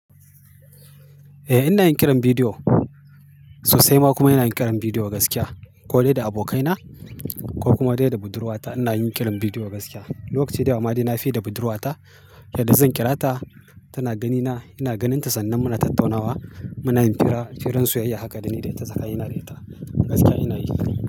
Eh ina yin kiran bidiyo sosaima kuma ina yin kiran bidiyo gaskiya ko dai da abokaina ko kuma dai da budurwata ina yin kiran bidiyo gaskiya. Lokacin da yawa ma dai na fi da budurwata, yadda zan kira ta tana ganina ina ganinta sannan muna tattaunawa muna yin fira, firan soyayya haka da ni da ita tsakanin ni da ita gaskiya ina yi.